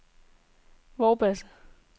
Vorbasse